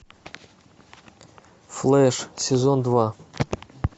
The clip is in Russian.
флэш сезон два